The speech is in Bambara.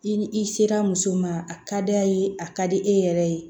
I ni i sera muso ma a ka d'a ye a ka di e yɛrɛ ye